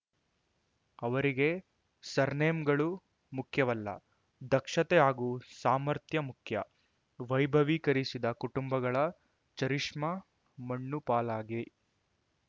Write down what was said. ಅವರಿಗೆ ಸರ್‌ನೇಮ್‌ಗಳು ಮುಖ್ಯವಲ್ಲ ದಕ್ಷತೆ ಹಾಗೂ ಸಾಮರ್ಥ್ಯ ಮುಖ್ಯ ವೈಭವೀಕರಿಸಿದ ಕುಟುಂಬಗಳ ಚರಿಷ್ಮಾ ಮಣ್ಣುಪಾಲಾಗಿ